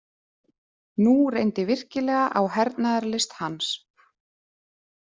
Nú reyndi virkilega á hernaðarlist hans.